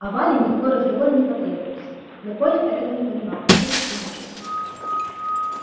а вале никакой разговор и не требовался но коля этого не понимал и чуточку мучился